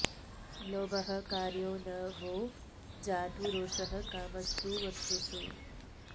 लोभः कार्यो न वो जातु रोषः कामस्तु वस्तुषु